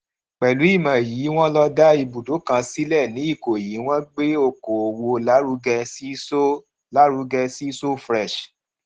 pèlú ìmò yìí wón lo dá ibùdó kan sílẹ ní ìkòyí wón gbé oko òwò lárugẹ sí so lárugẹ sí so fresh